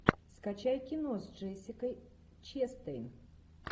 скачай кино с джессикой честейн